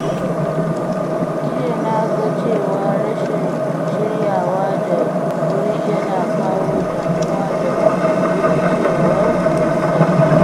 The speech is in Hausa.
Jiya na ga cewa rashin shiryawa da wuri yana kawo damuwa da rikicewar lissafi.